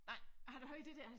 Nej har ud hørt det dér